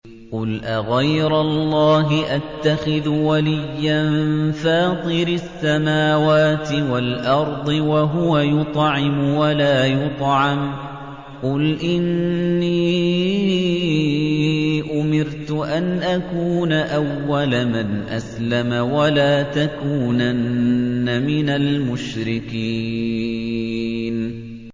قُلْ أَغَيْرَ اللَّهِ أَتَّخِذُ وَلِيًّا فَاطِرِ السَّمَاوَاتِ وَالْأَرْضِ وَهُوَ يُطْعِمُ وَلَا يُطْعَمُ ۗ قُلْ إِنِّي أُمِرْتُ أَنْ أَكُونَ أَوَّلَ مَنْ أَسْلَمَ ۖ وَلَا تَكُونَنَّ مِنَ الْمُشْرِكِينَ